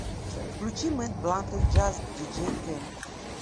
включи мэд блантед джаз диджей кэм